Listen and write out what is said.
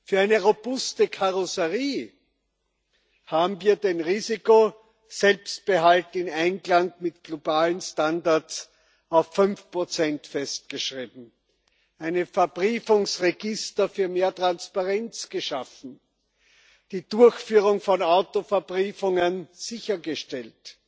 Für eine robuste Karosserie haben wir den Risikoselbstbehalt in Einklang mit globalen Standards auf 5 festgeschrieben, ein Verbriefungsregister für mehr Transparenz geschaffen, die Durchführung von Auto Verbriefungen sichergestellt